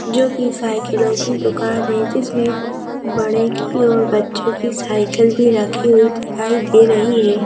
जो कि साइकिलों की दुकान है जिसमें बड़े की और बच्चों की साइकिल भी रखी हुई दिखाई दे रही है।